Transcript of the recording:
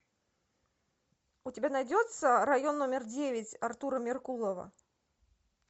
у тебя найдется район номер девять артура меркулова